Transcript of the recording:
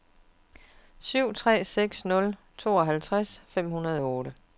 syv tre seks nul tooghalvtreds fem hundrede og otte